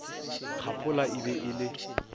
kgaphola e be e le